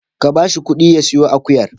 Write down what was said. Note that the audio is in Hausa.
Ka ba shi ƙuɗi ya siyo akuyar.